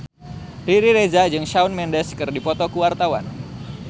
Riri Reza jeung Shawn Mendes keur dipoto ku wartawan